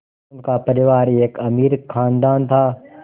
उनका परिवार एक अमीर ख़ानदान था